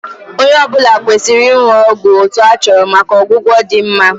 Onye ọ bụla kwesịrị ịṅụ ọgwụ otu a chọrọ maka ọgwụgwọ dị mma